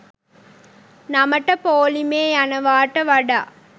නමට පෝලිමේ යනවාට වඩා